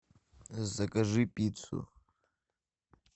закажи пиццу